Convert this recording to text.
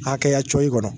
Hakɛya cɔyi kɔnɔ